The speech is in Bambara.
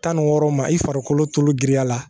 Tan ni wɔɔrɔ ma i farikolo giriya la